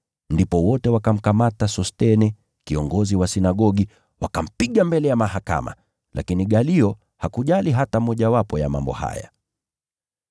Ndipo wote wakamkamata Sosthene kiongozi wa sinagogi, wakampiga mbele ya mahakama, lakini Galio hakujali kitendo chao hata kidogo.